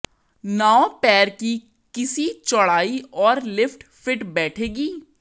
नाव पैर की किसी चौड़ाई और लिफ्ट फिट बैठेगी